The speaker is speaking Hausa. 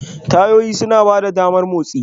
Tayoyi suna ba da damar motsi.